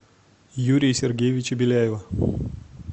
юрия сергеевича беляева